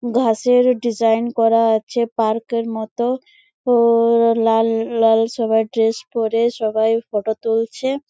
ঘাসের ডিজাইন করা আছে পার্ক -এর মতো ও-ও-ও লাল লাল সবার ড্রেস পড়ে সবাই ফটো তুলছে।